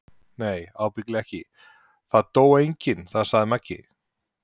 Nei ábyggilega ekki, það dó enginn þar sagði Magga.